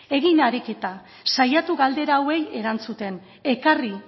egin ariketa saiatu galdera hauei erantzuten ekarri